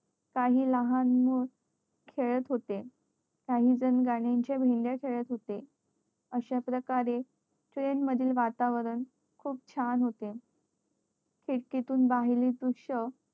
काही लहान मुलं खेळत होते काही जण गण्या च्या भेंड्या खेळत होते अश्या प्रकारे train मधील वातावरण खूप छान होते खिडकीतून बाहेरील दृष्य